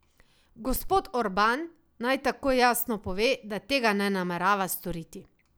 Gospod Orban naj takoj jasno pove, da tega ne namerava storiti.